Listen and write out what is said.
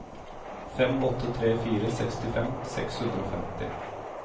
fem åtte tre fire sekstifem seks hundre og femti